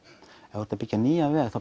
ef þú ert að byggja nýjan veg